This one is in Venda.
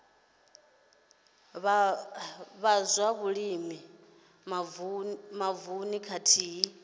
vha zwa vhulimi mavununi khathihi